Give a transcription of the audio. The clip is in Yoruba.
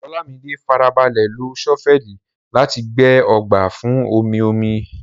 Olamide farabalẹ̀ lo ṣọ́fẹ́ẹ̀lì láti gbẹ́ ọgbà fún omi-omi.